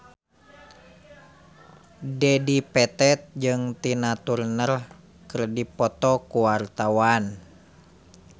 Dedi Petet jeung Tina Turner keur dipoto ku wartawan